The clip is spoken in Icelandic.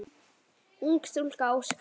Ung stúlka óskast.